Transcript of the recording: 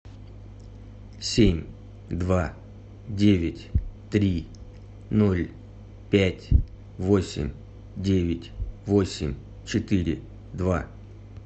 семь два девять три ноль пять восемь девять восемь четыре два